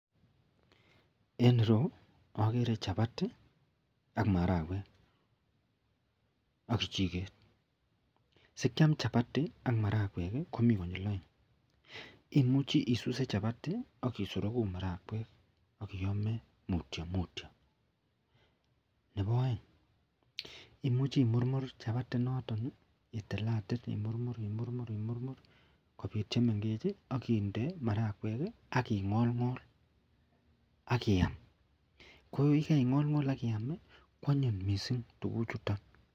En ireu akeree chapatiak akakichiket sikiam chapati ak marakwek Komi konyil aeng imuche issue chapati akisorogu marakwekakiyame mutyo mutyo Nebo aeng imuche imurmur chapati inoton itilatil imurmurkobit chemengechen akinde marakwek akingol akiywa kwanyin mising tuguk chuton.